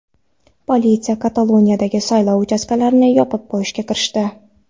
Politsiya Kataloniyadagi saylov uchastkalarini yopib qo‘yishga kirishdi.